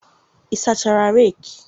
ị sachara reki?